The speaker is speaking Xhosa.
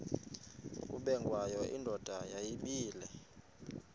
ubengwayo indoda yayibile